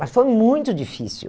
Mas foi muito difícil.